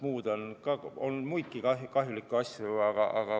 On muidki kahjulikke asju.